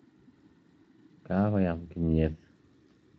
Kakoyam kimnyet